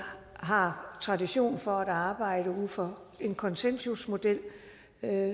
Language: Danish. har tradition for at arbejde ud fra en konsensusmodel